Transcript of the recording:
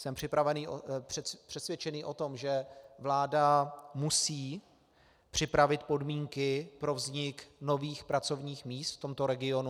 Jsem přesvědčený o tom, že vláda musí připravit podmínky pro vznik nových pracovních míst v tomto regionu.